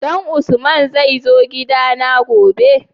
Dan usman zai zo gida na gobe?